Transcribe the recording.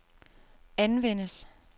anvendes